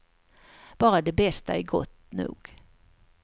Bara det bästa är gott nog.